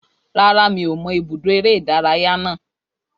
Rárá, mi ò mọ ibùdó eré-ìdárayá náà